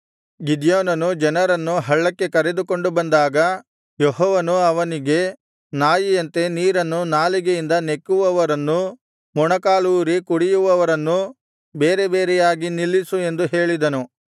ಗಿದ್ಯೋನನು ಜನರನ್ನು ಹಳ್ಳಕ್ಕೆ ಕರೆದುಕೊಂಡು ಬಂದಾಗ ಯೆಹೋವನು ಅವನಿಗೆ ನಾಯಿಯಂತೆ ನೀರನ್ನು ನಾಲಿಗೆಯಿಂದ ನೆಕ್ಕುವವರನ್ನೂ ಮೊಣಕಾಲೂರಿ ಕುಡಿಯುವವರನ್ನೂ ಬೇರೆ ಬೇರೆಯಾಗಿ ನಿಲ್ಲಿಸು ಎಂದು ಹೇಳಿದನು